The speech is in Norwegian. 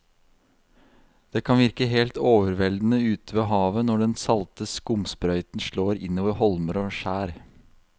Det kan virke helt overveldende ute ved havet når den salte skumsprøyten slår innover holmer og skjær.